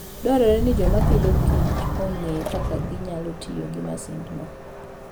Dwarore ni joma pidhokichong'e kaka ginyalo tiyo gi masindno.